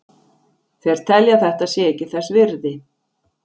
Þeir telja að þetta sé ekki þess virði.